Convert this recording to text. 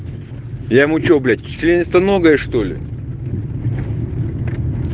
я ему что блять членистоногое что ли